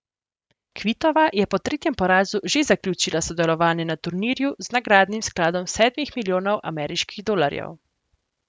Kvitova je po tretjem porazu že zaključila sodelovanje na turnirju z nagradnim skladom sedmih milijonov ameriških dolarjev.